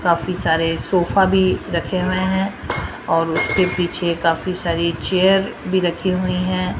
काफी सारे सोफा भी रखे हुए हैं और उसके पीछे काफी सारी चेयर भी रखी हुई है।